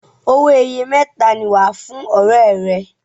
owoeye mẹta ní wá fún ọrẹ rè.